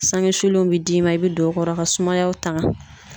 Sanŋe sulennw bi d'i ma, i be don o kɔrɔ ka sumaya tanga.